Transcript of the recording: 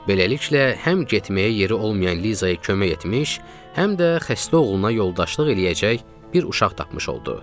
Beləliklə, həm getməyə yeri olmayan Lizaya kömək etmiş, həm də xəstə oğluna yoldaşlıq eləyəcək bir uşaq tapmış oldu.